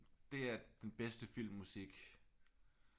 Det er den bedste filmmusik